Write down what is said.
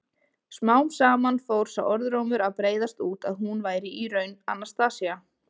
Smám saman fór sá orðrómur að breiðast út að hún væri í raun Anastasía.